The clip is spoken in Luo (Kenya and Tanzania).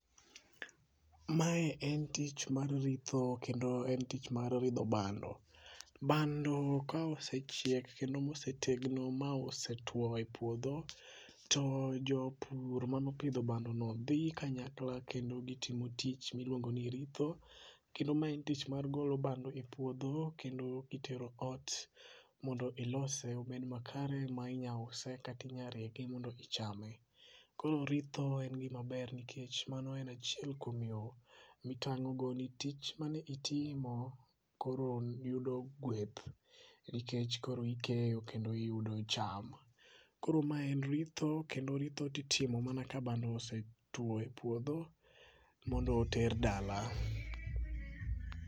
mae en tich mar ritho en tich mar ritho bando ,bando ka osechiek kendo ma osetegno ma osetuo e puodho to jopur mano pidho bando no dhi kanyakla kendo gitimo tich miluong'o ni ritho kendo ma en tich mar golo bando e puotho kendo kitero ot mondo ilose obed makare ma inya use kata inyalo rege mondo ichame ,koro ritho en gima ber nikech mano en achiel kuom yo mitang' go ne tich mane itimo koro yudo gweth ,nikech koro ikeyo kendo yudo cham ,koro mae en ritho kendo ritho itimo mana ka bando osetuo e puodho mondo oter dala